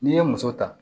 N'i ye muso ta